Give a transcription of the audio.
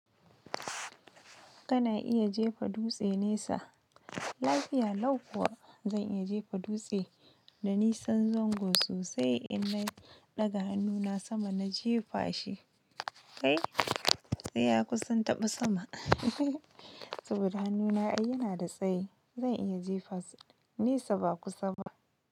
Kana iya jefa dutse nesa. Lafiya lau kuwa, zan iya jefa dutse, danisan zango sosai, in na ɗaga hannuna sama na jefa shi. Kai! Sai ya kusan taɓa sama saboda hannuna ai yana da tsayi. Zan iya jefasa, nesa ba kusa ba.